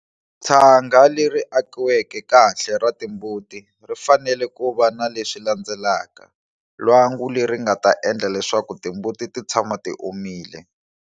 Tshanga leri akiveke kahle ra timbuti ri fanele ku va na leswi landzelaka-lwangu leri nga ta endla leswaku timbuti ti tshama ti omile.